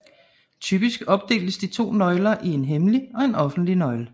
Typisk opdeles de to nøgler i en hemmelig og en offentlig nøgle